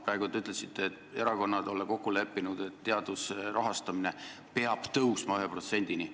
Praegu te ütlesite, et erakonnad olla kokku leppinud, et teaduse rahastamine peab tõusma 1%-ni.